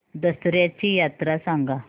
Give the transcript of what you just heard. दसर्याची यात्रा सांगा